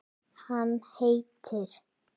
Hann heitir